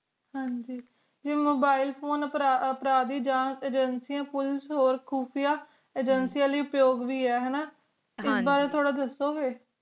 ਹਨ ਗ ਆਈ mobile phone ਅਪਰਡੀ ਜੱਜ ਏਜੇਂਸੀਆਂ ਤੇ ਖੁਫੀਆ ਏਜੇਂਸੀਆਂ ਲਾਏ ਅੱਪਯੋਗ ਵੇ ਆ ਹਨ ਨਾ ਐਸ ਬਾਰੇ ਵਿਚ ਥੋੜ੍ਹਾ ਦੱਸੋ ਗੇ